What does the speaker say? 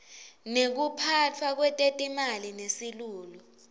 lekuphatfwa kwetetimali nesilulu